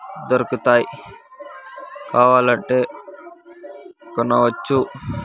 దొరుకుతాయ్ కావాలంటే కొనవచ్చు.